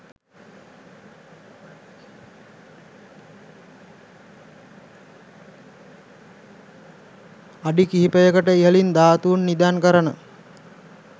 අඩි කිහිපයකට ඉහළින් ධාතු නිදන් කරන